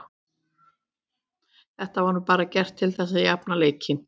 Þetta var nú bara gert til þess að jafna leikinn.